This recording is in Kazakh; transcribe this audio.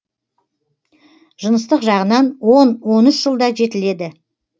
жыныстық жағынан он он үш жылда жетіледі